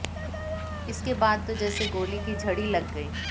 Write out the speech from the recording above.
इसके बाद तो जैसे गोलों की झड़ी लग गई